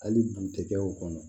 Hali butekɛ o kɔnɔ